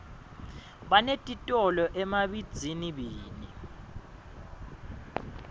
binetitolo emabihzinibini